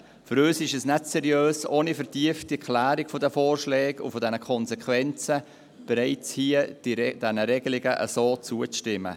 Für uns ist es nicht seriös, ohne eine vertiefte Klärung dieser Vorschläge und der Konsequenzen den Regelungen bereits hier zuzustimmen.